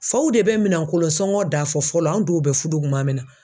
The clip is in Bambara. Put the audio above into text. Faw de bɛ minɛnkolon sɔngɔ da fɔ fɔlɔ an dɔw bɛ fudu kuma min na.